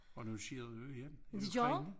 Og nu sker det jo igen i Ukraine